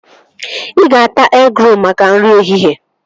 Ị ga-ata egịrolu maka nri ehihie